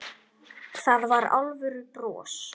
Það var alvöru bros.